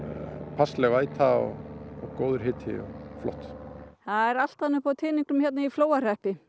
passleg væta og góður hiti og flott það er allt annað upp á teningnum hér í Flóahreppi